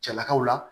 Cɛlakaw la